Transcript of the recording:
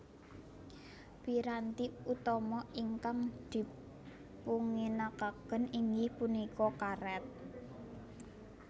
Piranti utama ingkang dipunginakaken inggih punika karét